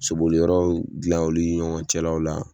Saboli yɔrɔw gilan oli ɲɔgɔn cɛlaw la